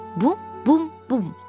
Bum, bum, bum.